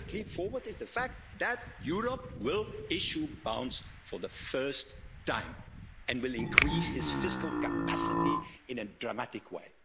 the third leap forward is the fact that Europe will issue bonds for the first time and will increase its fiscal capacity in a dramatic way.